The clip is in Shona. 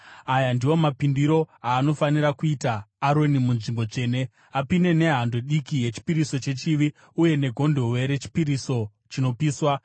“Aya ndiwo mapindiro anofanira kuita Aroni munzvimbo tsvene: apinde nehando diki yechipiriso chechivi uye negondobwe rechipiriso chinopiswa.